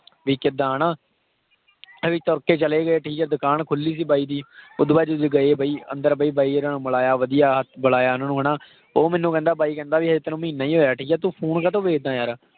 ਵੀ ਕਿੱਦਾਂ ਹਨਾ ਵੀ ਤੁਰ ਕੇ ਚਲੇ ਗਏ ਠੀਕ ਹੈ ਦੁਕਾਨ ਖੁੱਲੀ ਸੀ ਬਾਈ ਦੀ ਉਹ ਤੋਂ ਬਾਅਦ ਜਦੋਂ ਗਏ ਵੀ ਅੰਦਰ ਵੀ ਮਿਲਾਇਆ ਵਧੀਆ ਬੁਲਾਇਆ ਉਹਨਾਂ ਨੂੰ ਹਨਾ, ਉਹ ਮੈਨੂੰ ਕਹਿੰਦਾ ਬਾਈ ਕਹਿੰਦਾ ਵੀ ਹਜੇ ਤੈਨੂੰ ਮਹੀਨਾ ਹੀ ਹੋਇਆ ਠੀਕ ਹੈ ਤੂੰ phone ਕਾਹਤੋਂ ਵੇਚਦਾਂ ਯਾਰ